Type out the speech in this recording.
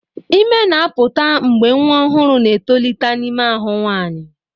Ime ime na-apụta mgbe nwa ọhụrụ na-etolite n'ime ahụ nwanyị.